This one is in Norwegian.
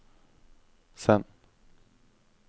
send